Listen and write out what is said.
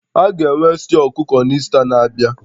A ga-enwe stew ọkụkọ na Ista na-abịa?